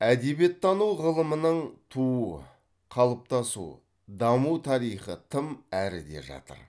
әдебиеттану ғылымының туу қалыптасу даму тарихы тым әріде жатыр